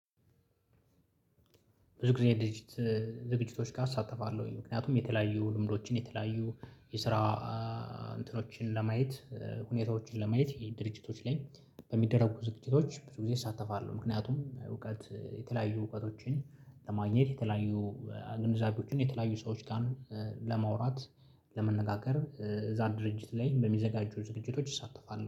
ብዙ ጊዜ የዝግጅት ዝግጅቶች ጋር አሳተፋለሁኝ ምክንያቱም የተለያዩ ልምዶችን የተለያዩ የስራ እንትኖችን ለማየት ሁኔታዎችን ለማየት ድርጅቶች ላይ በሚደረጉ ዝቅቼዎች ብዙ ጊዜ እሳተፋለሁ። ምክንያቱም እውቀት የተለያዩ እውቀቶችን ለማግኘት የተለያዩ ግንዛቤዎችን የተለያዩ ሰዎች ጋር ለማውራት ለመነጋገር እዛ ድርጅት ላይ በሚዘጋጁ ዝግጅቶች ይሳተፋሉ